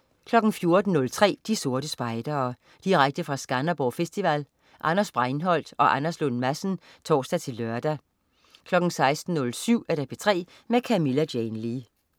14.03 De Sorte Spejdere. Direkte fra Skanderborg Festival. Anders Breinholt og Anders Lund Madsen (tors-lør) 16.07 P3 med Camilla Jane Lea